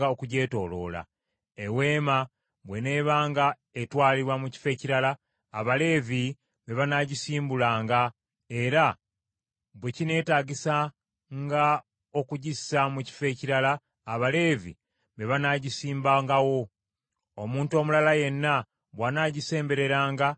Eweema bw’eneebanga etwalibwa mu kifo ekirala, Abaleevi be banaagisimbulanga, era bwe kineetaagisanga okugissa mu kifo awalala, Abaleevi be banaagisimbangawo. Omuntu omulala yenna bw’anaagisembereranga anaafanga.